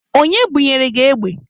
Onye bunyere gị egbe?